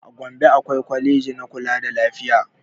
A gombe akwai kwaleji na kula da lafiya